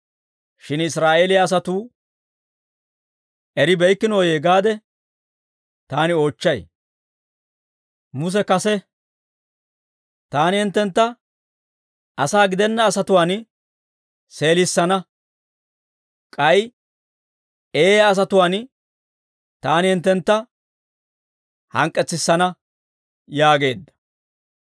Shin Israa'eeliyaa asatuu eribeykkinoyee gaade taani oochchay. Muse kase, «Taani hinttentta asaa gidenna asatuwaan seelissana; k'ay eeyaa asatuwaan taani hinttentta hank'k'etsissana» yaageedda.